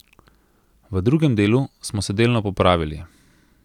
V drugem delu smo se delno popravili.